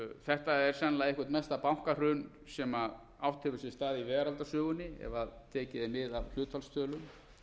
þetta er sennilega eitt mesta bankahrun sem átt hefur sér stað í veraldarsögunni ef